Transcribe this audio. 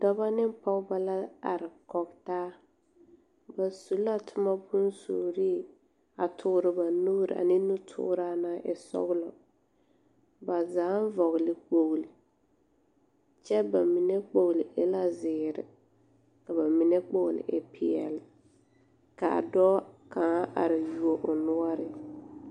Dɔbɔ ne pɔgebɔ la are kɔge taa. Ba su la toma bonsuurii a toore ba nuuri ane nutooraa naŋ e sɔgelɔ. Baa zaaŋ vɔgele la kpogli, kyɛ ba mine kpogli e la zeere ka ba mine kpogli e peɛle, kaa dɔɔ kaŋa are you o noɔre.